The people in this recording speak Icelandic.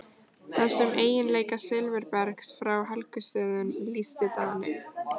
Þessum eiginleika silfurbergs frá Helgustöðum lýsti Daninn